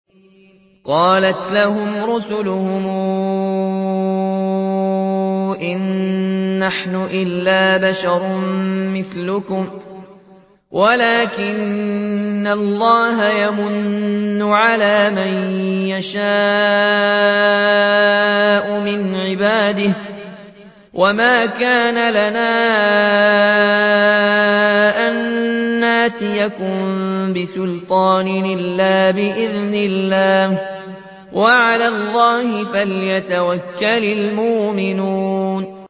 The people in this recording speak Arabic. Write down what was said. قَالَتْ لَهُمْ رُسُلُهُمْ إِن نَّحْنُ إِلَّا بَشَرٌ مِّثْلُكُمْ وَلَٰكِنَّ اللَّهَ يَمُنُّ عَلَىٰ مَن يَشَاءُ مِنْ عِبَادِهِ ۖ وَمَا كَانَ لَنَا أَن نَّأْتِيَكُم بِسُلْطَانٍ إِلَّا بِإِذْنِ اللَّهِ ۚ وَعَلَى اللَّهِ فَلْيَتَوَكَّلِ الْمُؤْمِنُونَ